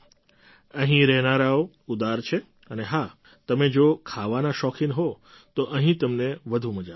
અહીં રહેનારાઓ ઉદાર છે અને હા તમે જો ખાવાના શોખીન હો તો અહીં તમને વધુ મજા આવશે